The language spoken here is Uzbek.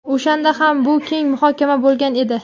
O‘shanda ham bu keng muhokama bo‘lgan edi.